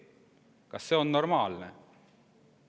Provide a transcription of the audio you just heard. Kas see on normaalne?